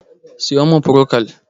siyo min prokol!